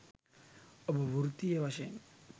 ඔබ වෘත්තීය වශයෙන්